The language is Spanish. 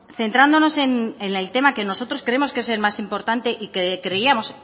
centrándonos en el tema que nosotros creemos que es el más importante y que creíamos